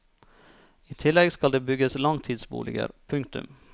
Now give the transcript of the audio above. I tillegg skal det bygges langtidsboliger. punktum